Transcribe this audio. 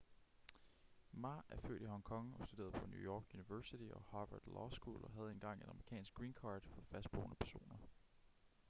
ma er født i hong kong og studerede på new york university og harvard law school og havde engang et amerikansk green card for fastboende personer